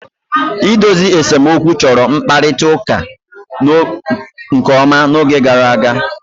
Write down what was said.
Idozi nsemokwu chọrọ mkparịta ụka nke ọma n'oge gara aga.